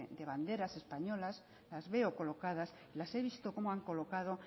de banderas españolas las veo colocadas las he visto cómo han colocado